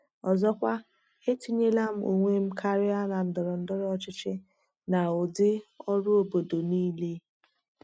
Ọzọkwa, etinyela m onwe m karịa na ndọrọ ndọrọ ọchịchị na ụdị ọrụ obodo niile.